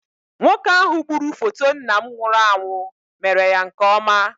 Nwoke ahụ gburu foto nna m nwụrụ anwụ mere ya nke ọma.